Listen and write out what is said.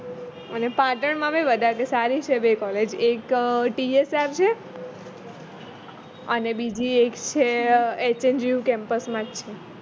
અને પાટણ માં બી વધારે સારી છે બે collage એક TSR છે અને બીજી એક છે જ છે